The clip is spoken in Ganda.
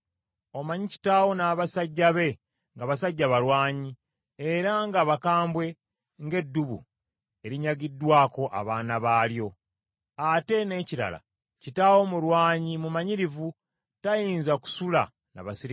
Omanyi kitaawo n’abasajja be nga basajja balwanyi era nga bakambwe ng’eddubu erinyagiddwako abaana baalyo. Ate n’ekirala, kitaawo mulwanyi mumanyirivu; tayinza kusula na baserikale.